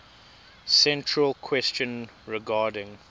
central question regarding